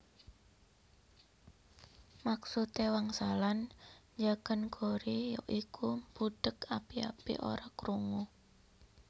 Maksude wangsalan njagan gori ya iku mbudheg api api ora krungu